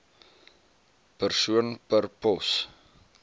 persoon per pos